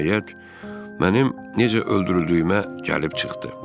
Nəhayət, mənim necə öldürüldüyümə gəlib çıxdı.